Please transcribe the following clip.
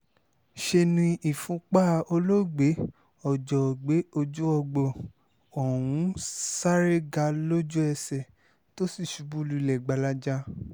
ṣe ni ìfúnpá olóògbé ojoògbé ọjọ́úgbóh ọ̀hún sáré ga lójú-ẹsẹ̀ tó sì ṣubú lulẹ̀ gbalaja